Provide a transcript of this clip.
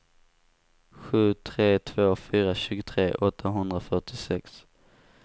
sju tre två fyra tjugotre åttahundrafyrtiosex